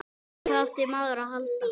Hvað átti maður að halda?